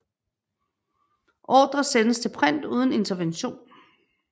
Ordre sendes til print uden intervention